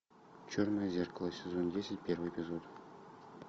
черное зеркало сезон десять первый эпизод